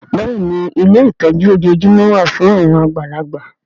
Bẹ́ẹ̀ni ilé ìtọ́jú ojoojúmọ́ wà fún àwọn àgbàlagbà